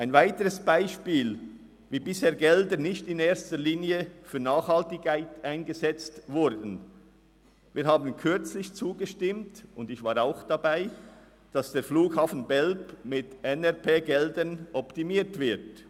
Ein weiteres Beispiel, wie Gelder bisher nicht nachhaltig eingesetzt wurden: Wir haben kürzlich zugestimmt – ich war auch dabei –, den Flughafen Belp mit NRP-Geldern zu optimieren.